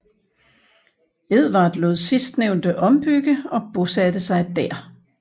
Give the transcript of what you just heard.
Edvard lod sidstnævnte ombygge og bosatte sig der